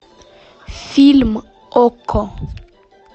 фильм окко